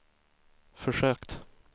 försökt